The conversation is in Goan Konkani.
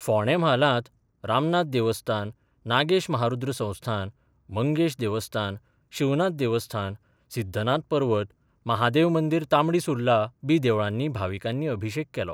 फोंडें म्हालांत रामनाथ देवस्थान, नागेश महारुद्र संस्थान, मंगेश देवस्थान, शिवनाथ देवस्थान, सिद्धनाथ पर्वत, महादेव मंदीर तांबडी सुर्ला बी देवळांनी भाविकांनी अभिशेक केलो.